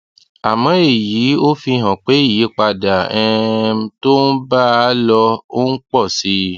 àmó èyí ò fi hàn pé ìyípadà um tó ń bá a lọ ń pọ sí i